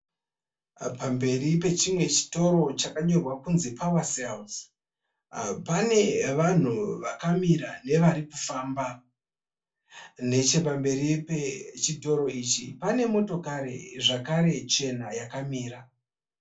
Pamberi pechimwe chitoro chakanyorwa kunzi pawa serizi. Pane vanhu vakamira nevarikufamba. Nechepamberi pechitoro ichi pane motokari zvakare chena yakamira.